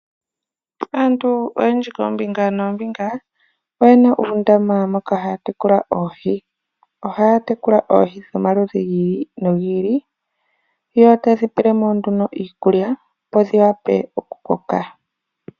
Aantu oyendji koombinga noombinga oyena uundama moka haya tekula oohi. Ohaya tekula oohi dhomaludhi gi ili nogi ili, yotaye dhi pe iikulya opo dhikoke.